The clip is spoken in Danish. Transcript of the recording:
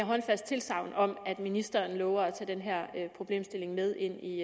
håndfast tilsagn om at ministeren lover at tage den her problemstilling med ind i